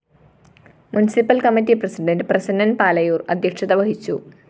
municipal committee president Prasannan‍ Palayoor‍ അധ്യക്ഷത വഹിച്ചു